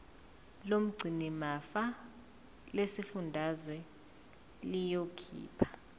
lomgcinimafa lesifundazwe liyokhipha